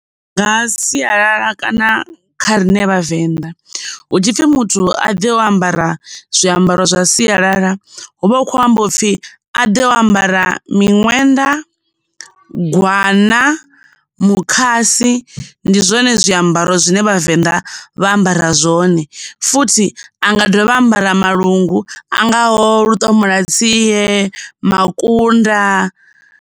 Nga sialala kana kha rine Vhavenḓa hu tshipfi muthu a ḓe o ambara zwiambaro zwa sialala, hu vha hu khou amba u pfhi muthu a ḓe o ambara Miṅwenda, Gwana, Mukhasi ndi zwone zwiambaro zwine Vhavenḓa vha ambara zwone, futhi a nga dovha ambara malungu a ngaho luṱomola tsie, makunda.